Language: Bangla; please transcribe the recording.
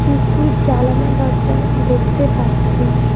প্রচুর জালানা দরজা দেখতে পাচ্ছি।